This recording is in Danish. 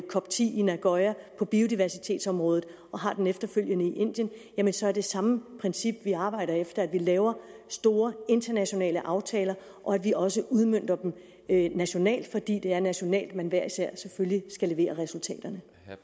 cop10 i nagoya på biodiversitetsområdet og har en efterfølgende i indien jamen så er det samme princip vi arbejder efter altså at vi laver store internationale aftaler og at vi også udmønter dem nationalt for det er nationalt man hver især selvfølgelig skal levere resultaterne